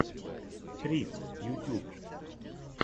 трисс ютьюб